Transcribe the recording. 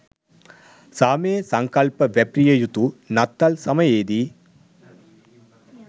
සාමයේ සංකල්ප වැපිරිය යුතු නත්තල් සමයේදී